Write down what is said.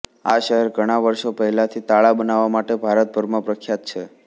આ શહેર ઘણાં વર્ષો પહેલાંથી તાળાં બનાવવા માટે ભારતભરમાં પ્રખ્યાત છે